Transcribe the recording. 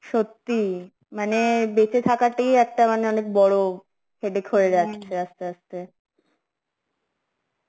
সত্যি, মানে বেচে থাকাটাই একটা মানে অনেক বড় headache যাচ্ছে আসতে আসতে